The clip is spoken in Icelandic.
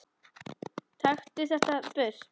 Taktu þetta burt!